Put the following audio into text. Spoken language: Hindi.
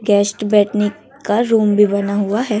गेस्ट बैठने का रूम भी बना हुआ है।